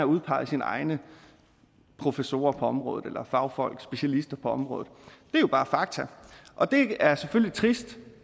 udpeget sine egne professorer på området eller fagfolk specialister på området det er jo bare fakta og det er selvfølgelig trist